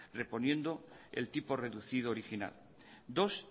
reponiendo el tipo reducido original dos